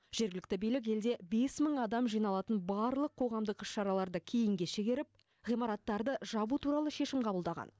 жергілікті билік елде бес мың адам жиналатын барлық қоғамдық іс шараларды кейінге шегеріп ғимараттарды жабу туралы шешім қабылдаған